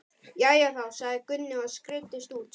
Jæja þá, sagði Gunni og skreiddist út.